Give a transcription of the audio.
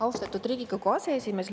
Austatud Riigikogu aseesimees!